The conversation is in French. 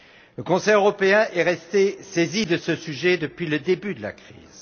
Le Conseil européen est resté saisi de ce sujet depuis le début de la crise.